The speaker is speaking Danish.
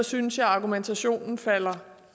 synes jeg at argumentationen falder